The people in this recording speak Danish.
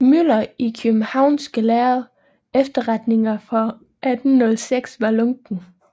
Müller i Kiøbenhavnske Lærde Efterretninger for 1806 var lunken